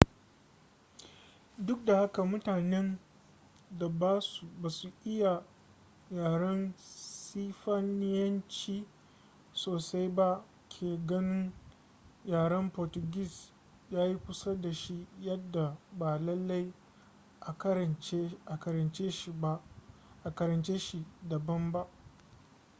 duk da haka mutanen da ba su iya yaren sifaniyanci sosai ba ke ganin yaren portuguese ya yi kusa da shi yadda ba lallai a karance shi daban ba